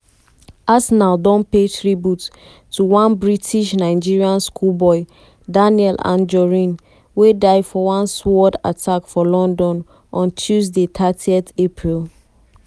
arsenal don pay tribute to one british-nigerian schoolboy daniel anjorin wey die for one sword attack for london on tuesday thirty april.